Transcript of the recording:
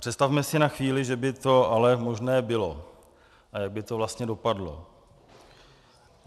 Představme si na chvíli, že by to ale možné bylo a jak by to vlastně dopadlo.